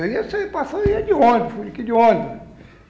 Eu ia sair para fora, eu ia de ônibus, fui daqui de ônibus.